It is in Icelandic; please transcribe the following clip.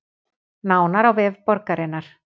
Nánar á vef borgarinnar